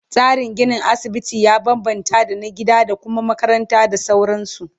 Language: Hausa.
Tsarin ginin asibiti ya bambamta da na gida da Kuma makaranta da sauransu